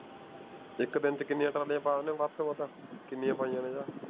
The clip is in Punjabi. ਇਕ ਦਿਨ ਚ ਕਿੰਨੀਆਂ ਪਾ ਦੇਣੇ ਓ ਵੱਧ ਤੋਂ ਵੱਧ ਕਿੰਨੀਆਂ ਪਾਈਆਂ ਨੇ